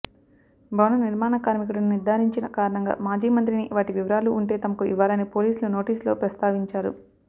భవన నిర్మాణ కార్మికుడని నిర్ధారించిన కారణంగా మాజీ మంత్రిని వాటి వివరాలు ఉంటే తమకు ఇవ్వాలని పోలీసులు నోటీసులో ప్రస్తావించారు